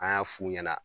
An y'a f'u ɲɛna